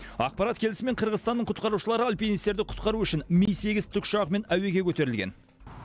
ақпарат келісімен қырғызстанның құтқарушылары альпинистерді құтқару үшін ми сегіз тікұшағымен әуеге көтерілген